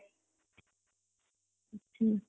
ହୁଁ